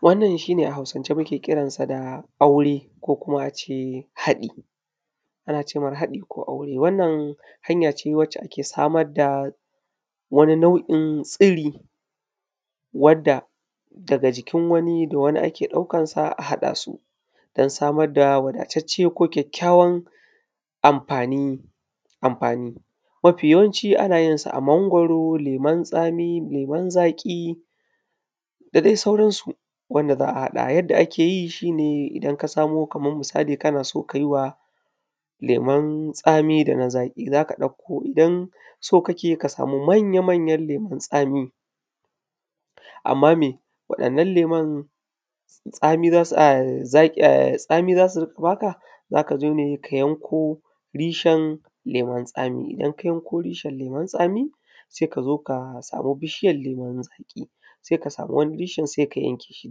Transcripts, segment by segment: Wannan shi ne a Hausance muke ƙiransa da aure, ko kuma a ce haɗi. Ana ce mar haɗi ko aure. Wannan hanya ce wacce ake samar da, wani nau’in tsiri, Wanda daga jikin wani da wani ake ɗaukan sa a haɗa su, don samar da wadatacce ko kyakykyawar amfani amfani. Mafi yawanci ana yin sa a mangwaro, leman tsami, leman zaƙi, da dai sauran su. Wanda za’a haɗa. Yanda ake yi shi ne idan ka samo kamar, misali kana so ka yi wa, lemun tsami da na zaƙi za ka ɗauko idan, so kake ka samu manya-manyan lemun tsami. Amma me waɗannan lemun, tsami za su a, ai zaƙi za su a tsami za su riƙa ba ka. Za ka zo ne ka yanko reshen lemun tsami. Idan ka yanko reshen lemun tsami. sai ka zo ka samu bishiyan lemun zaƙi, sai ka zo ka samu wani reshen sai ka yanke shi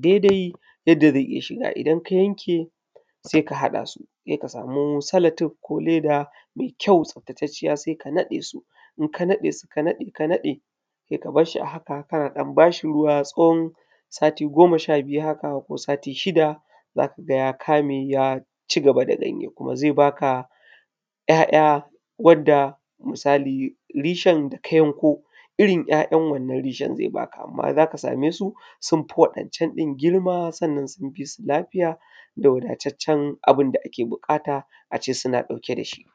daidai yanda zai iya shiga idan ka yanke, sai ka haɗa su. Sai ka samu salatuf ko leda mai kyau tsaftatacciya sai ka naɗe su. In ka naɗe su, ka naɗe ka naɗe, sai ka bar shi a haka kana ɗan ba shi ruwa tsawon, sati goma sha biyu, haka ko sati shida. Za ka ga ya kame kuma ya cigaba da ganye, kuma zai baka, ‘ya’ya wanda yake misali reshen da ka yanko irin ‘ya’yan wanna reshen zai baka. Amma za ka ga sun fi wa’yancan ɗin girma sannan sun fi lafiya da wadataccen abun da ake buƙata a ce suna ɗauke da shi.